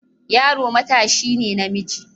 Yaro matashi ne namiji.